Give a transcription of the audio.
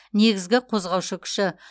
негізгі қозғаушы күші